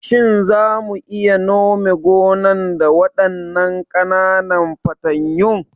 Shin za mu iya nome gonan da waɗannan ƙananan fatanyun?